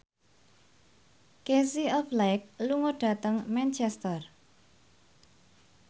Casey Affleck lunga dhateng Manchester